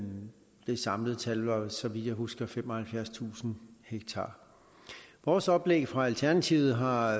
det samlede tal var så vidt jeg husker femoghalvfjerdstusind ha vores oplæg fra alternativet har